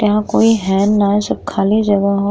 यहाँ कोई हैन ना सब खाली जगह ह।